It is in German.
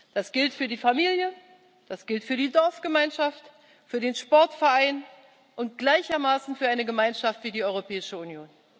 Das gilt für die Familie, das gilt für die Dorfgemeinschaft, für den Sportverein und gleichermaßen für eine Gemeinschaft wie die Europäische Union.